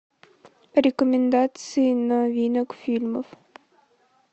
рекомендации новинок фильмов